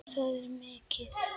Það er mikið.